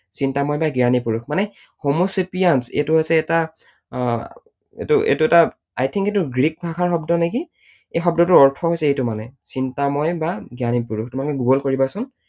চিন্তাময় বা জ্ঞানী পুৰুষ মানে homo sapiens এইটো হৈছে এটা আহ এইটো এটা I think এইটো গ্ৰীক ভাষাৰ শব্দ নেকি। এই শব্দটোৰ অৰ্থ হৈছে এইটো মানে। চিন্তাময় বা জ্ঞানী পুৰুষ, তোমালোকে গুগল কৰিবা চোন।